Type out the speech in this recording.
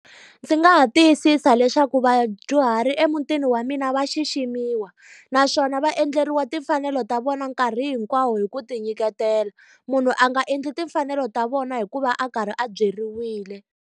Ndzi nga ha tiyisisa leswaku vadyuhari emutini wa mina va xiximiwa, naswona va endleriwa timfanelo ta vona nkarhi hinkwawo hi ku tinyiketela. Munhu a nga endli timfanelo ta vona hikuva a karhi a byeriwile.